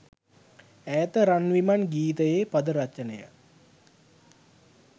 ඈත රන් විමන් ගීතයේ පද රචනය